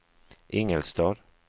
Ingelstad